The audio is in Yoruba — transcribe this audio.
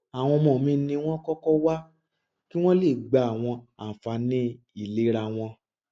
àwọn ọmọ mi ni wọn kọkọ wá kí wọn le gba àwọn àǹfààní ìlera wọn